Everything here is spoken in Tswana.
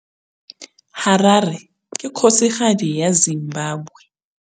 Harare ke kgosigadi ya Zimbabwe.